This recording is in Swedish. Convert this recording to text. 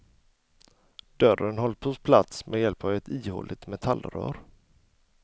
Dörren hålls på plats med ett hjälp av ett ihåligt metallrör.